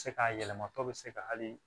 Se ka yɛlɛma tɔw bɛ se ka hali